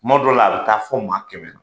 Tuma dɔw la a bɛ taa fɔ o ma kɛmɛ na